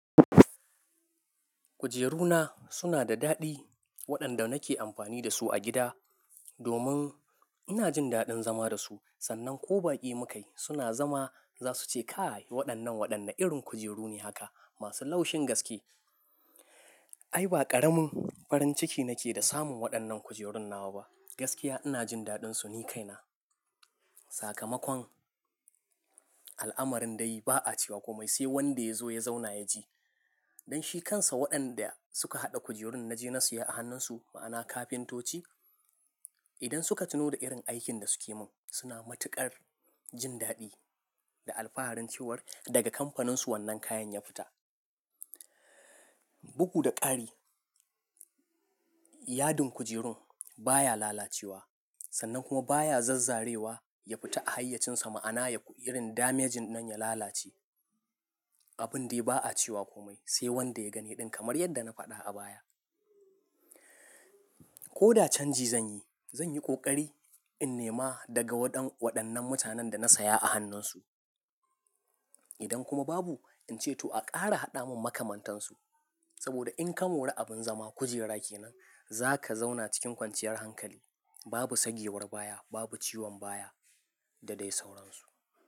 Kujeru na suna da daɗi waɗanda nake amfani da su a gida domin ina jin daɗin zama da su. Sannan ko baƙi mu kai suna zama za su ce kai waɗannan waɗannan irin kujeru ne haka masu laushin gaske. Ai ba ƙaramin farin ciki nake da samun waɗannan kujerun nawa ba. Gaskiya ina jin daɗin su, ni kaina. Sakamakon al'amarin dai ba a cewa komai sai wanda ya zo ya zauna ya ji. Don shi kansa waɗanda suka haɗa kujerun naje na siya a hannunsu ma'ana kafintoci idan suka tuno da irin aikin da suke mun suna matuƙar jin daɗi da alfaharin cewar daga kamfaninsu wannan kayan ya fita. Bugu da ƙari yadin kujerun baya lalacewa sannan kuma baya zazzarewa ya fita a hayyacinsa ma'ana yayi irin damejin nan ya lalace. Abun dai ba a cewa kome sai wanda ya gani ɗin kamar yadda na faɗa a baya. Ko da canji zanyi, zanyi ƙoƙari in nema daga waɗannan mutanen da na saya a hannunsu. Idan kuma babu in ce to a ƙara haɗa mun makamantansu saboda in ka mori abin zama kujera kenan za ka zauna cikin kwanciyar hankali babu sagewar baya, babu ciwon baya da dai sauransu.